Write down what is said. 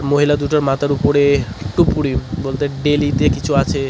মহিলা দুটোর মাথার উপরে একটু উপরে বলতে বেলিতে কিছু আছে।